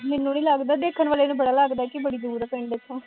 ਮੈਂਨੂੰ ਨਹੀਂ ਲੱਗਦਾ, ਦੇਖਣ ਵਾਲੇ ਨੂੰ ਬੜਾ ਲੱਗਦਾ ਕਿ ਬੜੀ ਦੂਰ ਆ ਪਿੰਡ ਇੱਥੋਂ